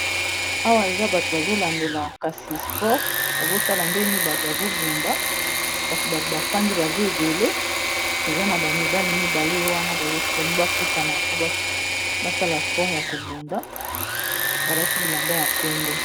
awa eza bato bazolandela kasi sport bazotala ndeni bato bazobunda kasi bato bafandi baza ebele eza na bamibali mibale wana balingi bakutana po basala sport ya kobunda balati bilamba ya pembe